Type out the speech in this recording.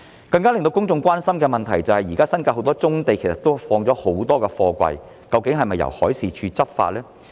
更令公眾關心的問題是，現時新界有很多棕地放置了很多貨櫃，究竟是否由海事處執法呢？